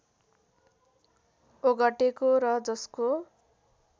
ओगटेको र जसको